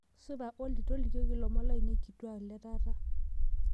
supa olly tolikioki ilomon lainei kituak letaata